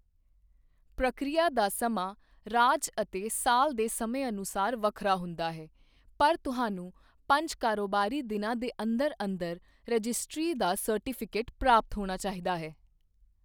ਪ੍ਰਕਿਰਿਆ ਦਾ ਸਮਾਂ ਰਾਜ ਅਤੇ ਸਾਲ ਦੇ ਸਮੇਂ ਅਨੁਸਾਰ ਵੱਖਰਾ ਹੁੰਦਾ ਹੈ, ਪਰ ਤੁਹਾਨੂੰ ਪੰਜ ਕਾਰੋਬਾਰੀ ਦਿਨਾਂ ਦੇ ਅੰਦਰ ਅੰਦਰ ਰਜਿਸਟਰੀ ਦਾ ਸਰਟੀਫਿਕੇਟ ਪ੍ਰਾਪਤ ਹੋਣਾ ਚਾਹੀਦਾ ਹੈ।